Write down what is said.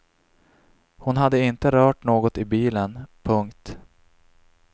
Hon hade inte rört något i bilen. punkt